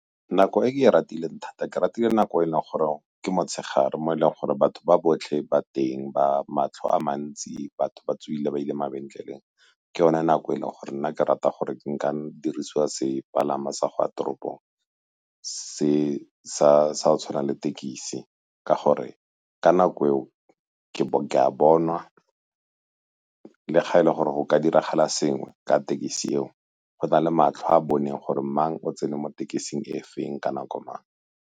Nako e ratileng thata, ke ratile nako e leng gore ke motshegare mo e leng gore batho ba botlhe ba teng, matlho a mantsi, batho ba tswile ba ile mabenkeleng. Ke yone nako e leng gore nna ke rata gore ke nka dirisiwa sepalama sa go ya toropong se se tshwanang le tekisi ka gore ka nako e o ke a bonwa le ga e le gore go ka diragala sengwe ka tekesi eo, go na le matlho a a boneng gore mang o tsene mo tekesi e feng ka nako mang.